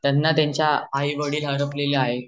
त्यांना त्यांचे आई वडील हरपलेले आहे